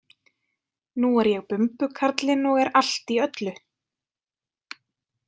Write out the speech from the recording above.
Nú er ég bumbukarlinn og er allt í öllu